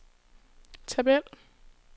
tabel